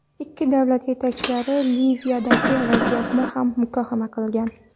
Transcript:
Ikki davlat yetakchilari Liviyadagi vaziyatni ham muhokama qilgan.